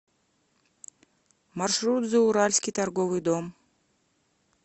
маршрут зауральский торговый дом